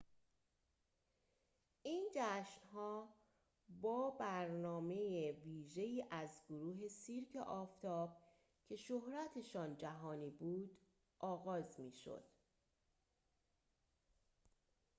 این جشن‌ها با برنامه ویژه‌ای از گروه سیرک آفتاب که شهرتشان جهانی بود آغاز می‌شد